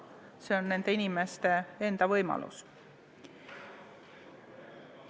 See on nende inimeste enda võimalus.